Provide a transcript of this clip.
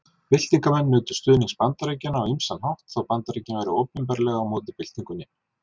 Byltingarmenn nutu stuðnings Bandaríkjanna á ýmsan hátt þó Bandaríkin væru opinberlega á móti byltingunni.